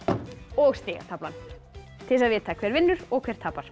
og stigataflan til þess að vita hver vinnur og hver tapar